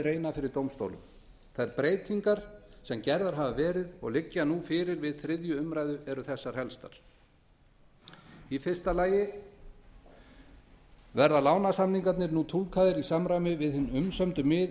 reyna fyrir dómstólum þær breytingar sem gerðar hafa verið og liggja fyrir við þriðju umræðu eru þessar helstar fyrstu verða lánasamningarnir nú túlkaðir í samræmi við hin umsömdu